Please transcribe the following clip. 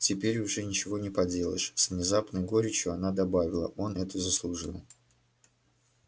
теперь уже ничего не поделаешь с внезапной горечью она добавила он это заслужил